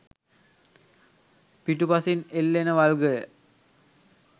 පිටුපසින් එල්ලෙන වල්ගය